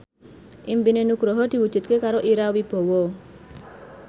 impine Nugroho diwujudke karo Ira Wibowo